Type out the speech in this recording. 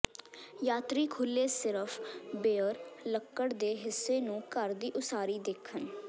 ਯਾਤਰੀ ਖੁੱਲ੍ਹੇ ਸਿਰਫ ਬੇਅਰ ਲੱਕੜ ਦੇ ਹਿੱਸੇ ਨੂੰ ਘਰ ਦੀ ਉਸਾਰੀ ਦੇਖਣ